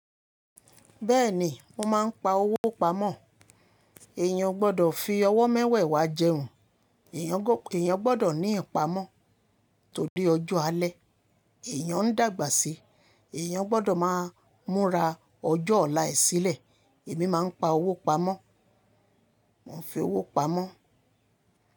Bẹ́ẹ̀ni, mo máa ń pa owó pamọ́. Èèyàn o gbọdọ̀ fi ọwọ́ mẹ́wẹ̀wà jẹun, èèyàn gbọdọ̀ ní ìpamọ́. Torí ọjọ́ alẹ́ èèyàn ń dàgbà sí, èèyàn gbọdọ̀ máa múra ọjọ́ ọ̀la e sílẹ̀. Èmi máa ń pa owó pamọ́, mo ń fi owó pamọ́